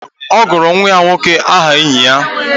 Ọ gụrụ nwa ya nwoke aha enyi ya